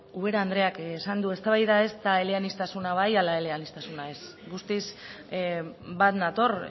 ubera andreak esan du eztabaida ez da eleaniztasuna bai ala eleaniztasuna ez guztiz bat nator